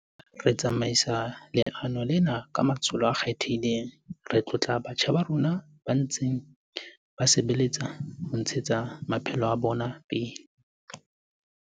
Re tsamaisa leano lena ka matsholo a kgethehileng. Re tlotla batjha ba rona ba ntseng ba sebeletsa ho ntshe tsa pele maphelo a bona.